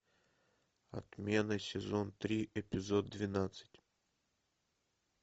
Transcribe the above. отмена сезон три эпизод двенадцать